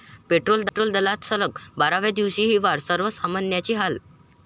petrol दरात सलग बाराव्या दिवशीही वाढ, सर्वसामान्यांचे हाल